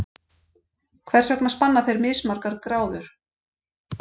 Hvers vegna spanna þeir mismargar gráður?